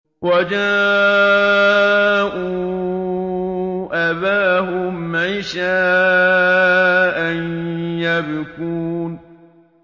وَجَاءُوا أَبَاهُمْ عِشَاءً يَبْكُونَ